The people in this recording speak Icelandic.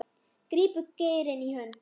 grípum geirinn í hönd